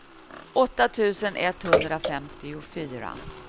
åtta tusen etthundrafemtiofyra